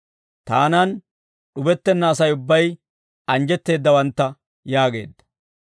Taanan d'ubettenna Asay ubbay anjjetteeddawantta» yaageedda.